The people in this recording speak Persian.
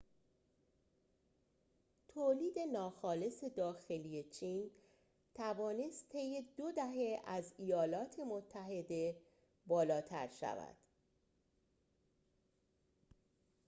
تولید ناخالص داخلی چین توانست طی دو دهه از ایالات متحده بالاتر شود